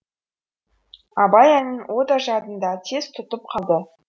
абай әнін о да жадында тез тұтып қалды